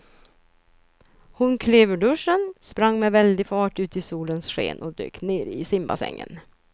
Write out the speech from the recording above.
Hon klev ur duschen, sprang med väldig fart ut i solens sken och dök ner i simbassängen.